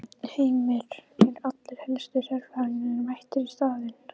Heimir, eru allir helstu sérfræðingarnir mættir á staðinn?